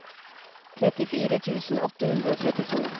trettifire tusen åtte hundre og trettito